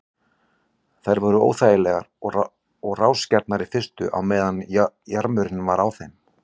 Þær voru óþægar og rásgjarnar í fyrstu á meðan jarmurinn var á þeim.